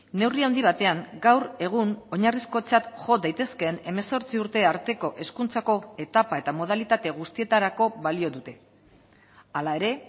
neurri handi batean gaur egun oinarrizkotzat jo daitezkeen hemezortzi urte arteko hezkuntzako etapa eta modalitate guztietarako balio dute hala ere